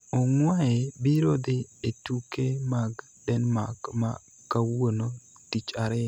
Ongwae biro dhi e tuke mag Denmark ma kawuono (tich ariyo)